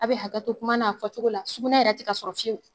A be hakɛto kuma n'a fɔ togo la sugunɛ yɛrɛ ti ka sɔrɔ fiyewu